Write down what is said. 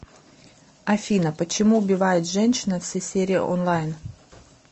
афина почему убивает женщина все серии онлайн